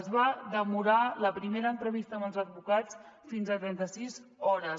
es va demorar la primera entrevista amb els advocats fins a trenta sis hores